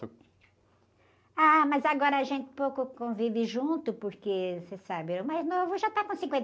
Ah, mas agora a gente pouco convive junto porque, você sabe, o mais novo já está com cinquenta.